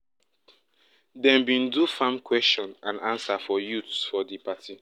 dem bin do farm question and answer for youths for di party